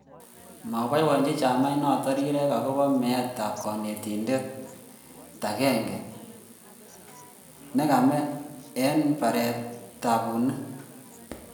moboibochini chamainoto rirek akobo meetab konetin akot agenge nekame eng baret nebo bunik